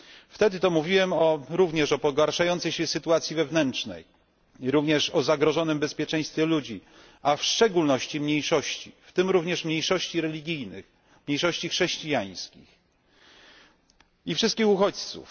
Wtedy to mówiłem również o pogarszającej się sytuacji wewnętrznej i również o zagrożonym bezpieczeństwie ludzi, a w szczególności mniejszości, w tym również mniejszości religijnych, mniejszości chrześcijańskich i wszystkich uchodźców.